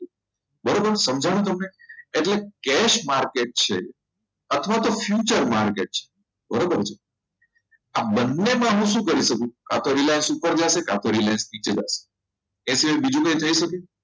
બરાબર સમજાયું તમને એટલે cash market છે અથવા તો future market છે બરાબર છે આ બંનેમાં હું શું કરી શકું કાતો Reliance ઉપર જશે કાતો Reliance નીચે જશે એ સિવાય બીજું કંઈ થઈ શકે